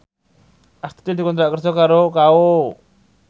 Astuti dikontrak kerja karo Kao